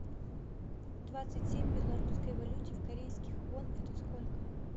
двадцать семь в белорусской валюте корейских вон это сколько